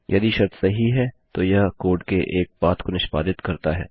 यदि शर्त सही है तो यह कोड के एक पाथ को निष्पादित करता है